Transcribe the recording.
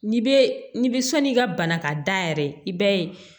N'i bɛ n'i bɛ sɔnni ka bana ka da yɛrɛ i b'a ye